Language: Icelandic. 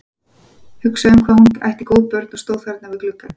Hugsaði um hvað hún ætti góð börn, og stóð þarna við gluggann.